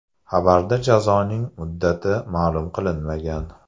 Xabarda jazoning muddati ma’lum qilinmagan.